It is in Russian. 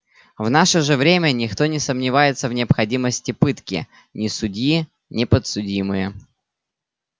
в наше же время никто не сомневается в необходимости пытки ни судьи ни подсудимые